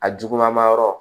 A juguman ma yɔrɔ